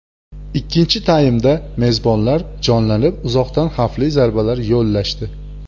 Ikkinchi taymda mezbonlar jonlanib, uzoqdan xavfli zarbalar yo‘llashdi.